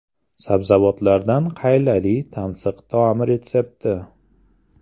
Sabzavotlardan qaylali tansiq taom retsepti.